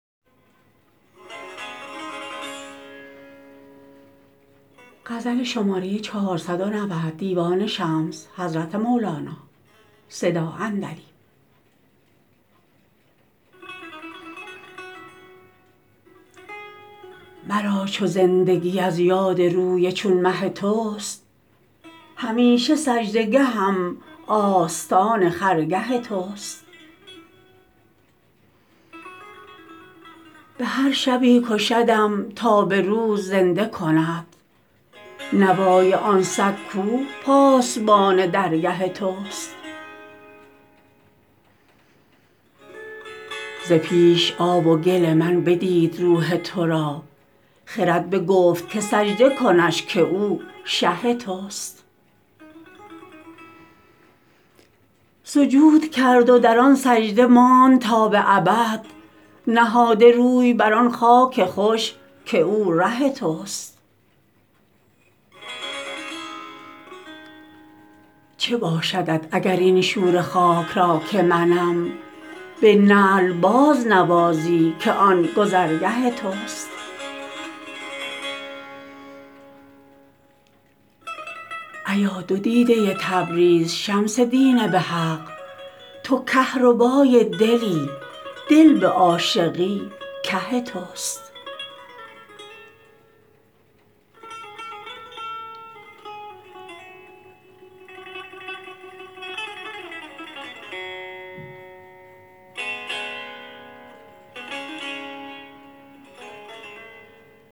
مرا چو زندگی از یاد روی چون مه توست همیشه سجده گهم آستان خرگه توست به هر شبی کشدم تا به روز زنده کند نوای آن سگ کو پاسبان درگه توست ز پیش آب و گل من بدید روح تو را خرد بگفت که سجده کنش که او شه توست سجود کرد و در آن سجده ماند تا به ابد نهاده روی بر آن خاک خوش که او ره توست چه باشدت اگر این شوره خاک را که منم به نعل بازنوازی که آن گذرگه توست ایا دو دیده تبریز شمس دین به حق تو کهربای دلی دل به عاشقی که توست